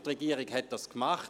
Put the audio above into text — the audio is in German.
Die Regierung hat dies getan.